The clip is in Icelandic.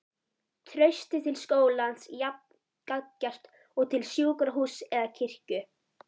Traustið til skólans jafn gagngert og til sjúkrahúss eða kirkju.